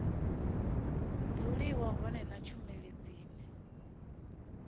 dzuliwa hone na tshumelo dzine